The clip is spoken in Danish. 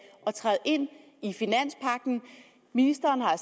at træde ind i finanspagten ministeren har